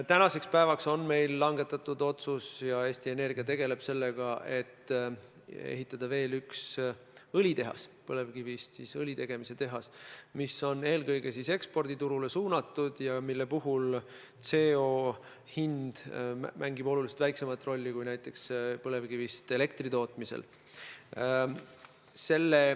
Tänaseks päevaks on meil langetatud otsus – ja Eesti Energia tegeleb sellega – ehitada veel üks põlevkivist õli tegemise tehas, mis on eelkõige eksporditurule suunatud ja mille puhul CO2 hind mängib oluliselt väiksemat rolli kui põlevkivist elektri tootmisel.